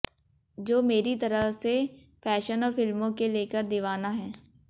जो मेरी तरह से फैशन और फिल्मों के लेकर दीवाना है